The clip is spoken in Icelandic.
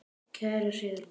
Kæra Sigrún.